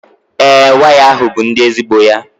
ee, waya a bụ ndi ezigbo ya